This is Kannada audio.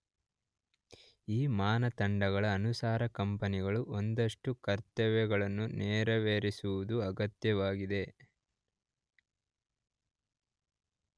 ಈ ಮಾನದಂಡಗಳ ಅನುಸಾರ ಕಂಪನಿಗಳು ಒಂದಷ್ಟು ಕರ್ತವ್ಯಗಳನ್ನು ನೆರವೇರಿಸುವುದು ಅಗತ್ಯವಾಗಿದೆ.